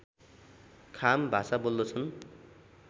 खाम भाषा बोल्दछन्